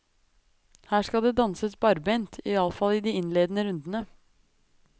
Her skal det danses barbent, i alle fall i de innledende rundene.